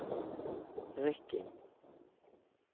Rykkinn